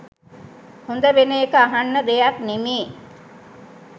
හොඳ වෙන එක අහන්න දෙයක් නෙමේ